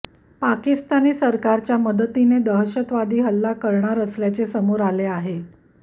पाकिस्तानी सरकारच्या मदतीने दहशतवादी हल्ला करणार असल्याचे समोर आले आहे